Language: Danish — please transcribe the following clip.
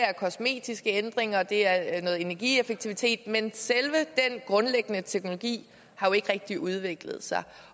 er kosmetiske ændringer det er noget energieffektivitet men selve den grundlæggende teknologi har jo ikke rigtig udviklet sig